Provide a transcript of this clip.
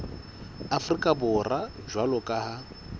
afrika borwa jwalo ka ha